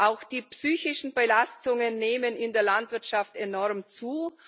Auch die psychischen Belastungen nehmen in der Landwirtschaft enorm zu.